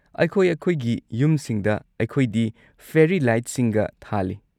ꯑꯩꯈꯣꯏ-ꯑꯩꯈꯣꯏꯒꯤ ꯌꯨꯝꯁꯤꯡꯗ ꯑꯩꯈꯣꯏꯗꯤ ꯐꯦꯔꯤ ꯂꯥꯏꯠꯁꯤꯡꯒ ꯊꯥꯜꯂꯤ꯫